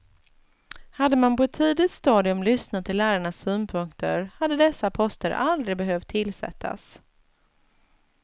Hade man på ett tidigt stadium lyssnat till lärarnas synpunkter hade dessa poster aldrig behövt tillsättas.